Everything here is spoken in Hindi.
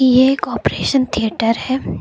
ये एक ऑपरेशन थिएटर है।